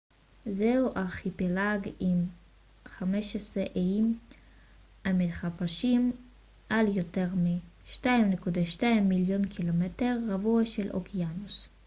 זהו ארכיפלג עם 15 איים המתפרשים על יותר מ-2.2 מיליון ק מ רבוע של אוקיינוס